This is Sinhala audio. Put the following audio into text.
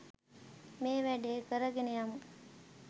මේ වැඩේ කරගෙන යමු.